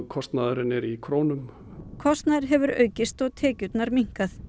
kostnaðurinn er í krónum kostnaður hefur aukist og tekjurnar minnkað